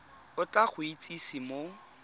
o tla go itsise mo